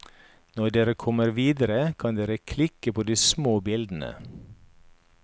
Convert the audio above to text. Når dere kommer videre kan dere klikke på de små bildene.